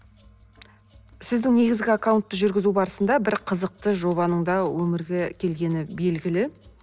сіздің негізгі аккаунтты жүргізу барысында бір қызықты жобаның да өмірге келгені белгілі